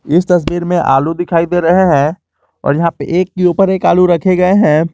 इस तस्वीर में आलू दिखाई दे रहे हैं और यहां पे एक के ऊपर एक आलू रखे गए हैं।